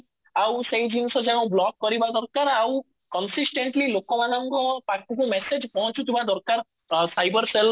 ଆଉ ସେଇ ଜିନିଷ ଯାକ block କରିବା ଦରକାର ଆଉ consistently ଲୋକ ମାନଙ୍କ ପାଖକୁ message ପହଞ୍ଚୁ ଥିବା ଦରକାର ଆଉ ସାଇବର cell